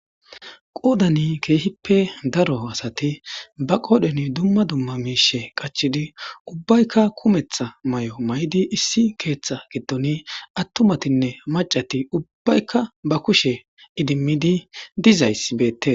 qoodani keehippe daro asati ba qoodhan dumma dumma miishe qachidi ubbaykka kumetha may7o may7di issi keeththa giddoni attumatinne macati ubbaykka ba kushe idimmidi dizaysi beette